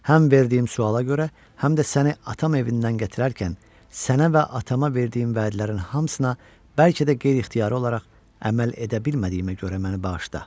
Həm verdiyim suala görə, həm də səni atam evindən gətirərkən, sənə və atama verdiyim vədlərin hamısına bəlkə də qeyri-ixtiyari olaraq əməl edə bilmədiyimə görə məni bağışla.